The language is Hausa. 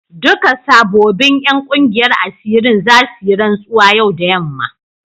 Duka sabobin 'yan kungiyar asirin za su yi rantsuwa yau da yamma.